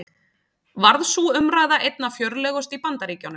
Varð sú umræða einna fjörlegust í Bandaríkjunum.